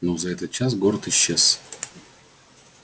но за этот час город исчез